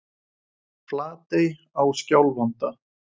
Flatey á Skjálfanda.